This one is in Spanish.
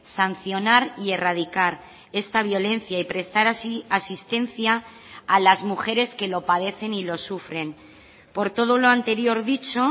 sancionar y erradicar esta violencia y prestar así asistencia a las mujeres que lo padecen y lo sufren por todo lo anterior dicho